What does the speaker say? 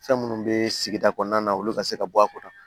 Fɛn minnu bɛ sigida kɔnɔna na olu ka se ka bɔ a kɔrɔ